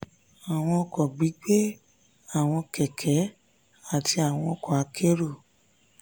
àwọn ọkọ̀ gbígbé (àwọn kẹ̀kẹ́ àti àwọn ọkọ akérò)